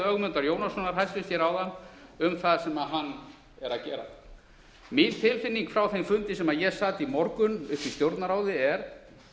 ögmundar jónassonar hæstvirtur ráðherra hér áðan um það sem hann er að gera mín tilfinning frá þeim fundi sem ég sat í morgun uppi í stjórnarráði er